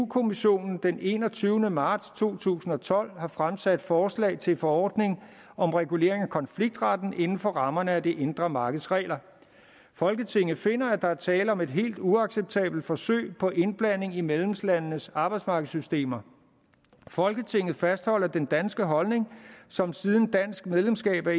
kommissionen den enogtyvende marts to tusind og tolv har fremsat forslag til forordning om regulering af konfliktretten inden for rammerne af det indre markeds regler folketinget finder at der er tale om et helt uacceptabelt forsøg på indblanding i medlemslandenes arbejdsmarkedssystemer folketinget fastholder den danske holdning som siden dansk medlemskab af